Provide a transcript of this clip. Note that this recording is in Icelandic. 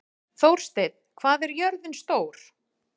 Þórsteinn, hvað er jörðin stór?